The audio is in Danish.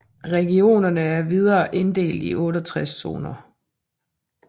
Regionerne er videre inddelte i 68 zoner